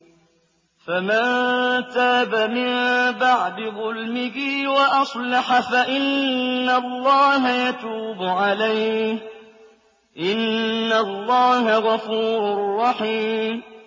فَمَن تَابَ مِن بَعْدِ ظُلْمِهِ وَأَصْلَحَ فَإِنَّ اللَّهَ يَتُوبُ عَلَيْهِ ۗ إِنَّ اللَّهَ غَفُورٌ رَّحِيمٌ